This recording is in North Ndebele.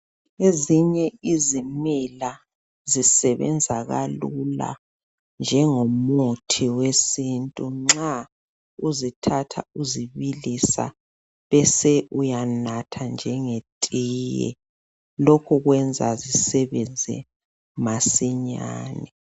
Ezinye izimela zisebenza kalula njengomuthi wesintu nxa uzithatha uzibilisa bese uyanatha njengetiye, lokho kwenza zisebenze masinyane.